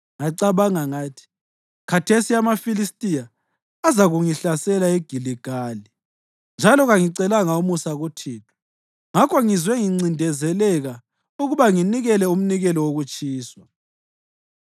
ngacabanga ngathi, ‘Khathesi amaFilistiya azakuzangihlasela eGiligali, njalo kangicelanga umusa kuThixo.’ Ngakho ngizwe ngincindezeleka ukuba nginikele umnikelo wokutshiswa.”